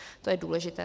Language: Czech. To je důležité.